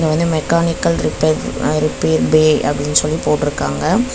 இது வந்து mechanical repair repair bay அப்டினு சொல்லி போட்ருக்காங்க.